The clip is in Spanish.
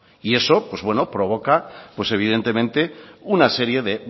y eso provoca evidentemente una serie de